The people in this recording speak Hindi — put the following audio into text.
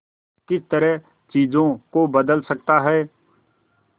किस तरह चीजों को बदल सकता है